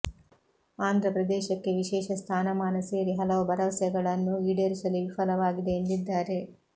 ಆಂಧ್ರ ಪ್ರದೇಶಕ್ಕೆ ವಿಶೇಷ ಸ್ಥಾನಮಾನ ಸೇರಿ ಹಲವು ಭರವಸೆಗಳನ್ನು ಈಡೇರಿಸಲು ವಿಫಲವಾಗಿದೆ ಎಂದಿದ್ದಾರೆ